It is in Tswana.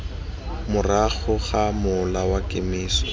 morago ga mola wa kemiso